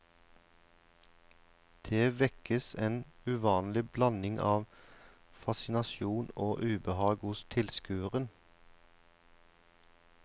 Det vekkes en uvanlig blanding av fascinasjon og ubehag hos tilskueren.